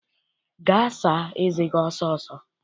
Gaa saa eze gi ọsọ ọsọ!